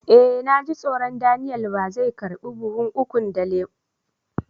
Eh, na ji tsoro Daniel ba zai karba buhun ukun lemu da ya ce in kawo mai.